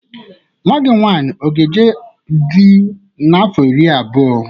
Nwa gị nwaanyị ọ ga eje dị n'afọ iri abụọ?